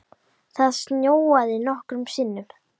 Það snjóaði nokkrum sinnum.